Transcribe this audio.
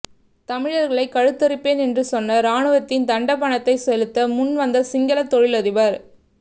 தமிழர்களை கழுத்தறுப்பேன் என்று சொன்ன ராணுவத்தின் தண்ட பணத்தை செலுத்த முன் வந்த சிங்கள தொழிலதிபர்